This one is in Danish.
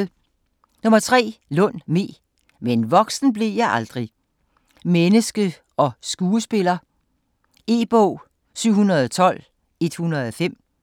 Lund, Me: - men voksen blev jeg aldrig: menneske & skuespiller E-bog 712105